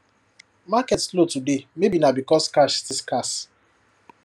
market slow today maybe na because cash still scarce